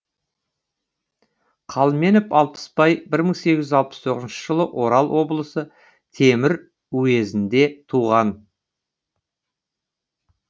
қалменов алпысбай бір мың сегіз жүз алпыс тоғызыншы жылы орал облысы темір уезінде туған